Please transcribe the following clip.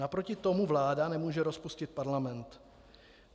Naproti tomu vláda nemůže rozpustit parlament.